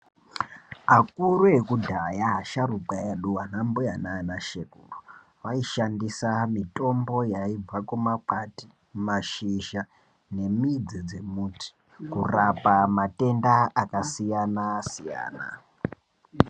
Akuru ekudhaya, asharukwa edu anambuya nanashekuru vaishandisa mitombo yaibva kumakwati, mashizha nemidzi dzemuti kurapa matenda akasiyana-siyana.